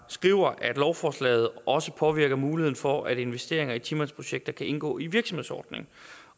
skrev at lovforslaget også påvirker muligheden for at investeringer i ti mandsprojekter kan indgå i virksomhedsordningen